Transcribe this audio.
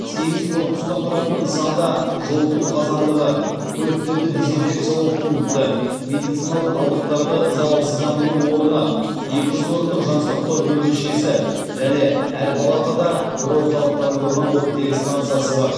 сегіз корпустан тұратын нысанда жылыту қазандығы көліктерді дизенфекциялау пункті медициналық қалдықтарды залалсыздандыру орны екі жүз орындық жансақтау бөлімшесі және әр палатада бір орталықтандырылған оттегі стансасы бар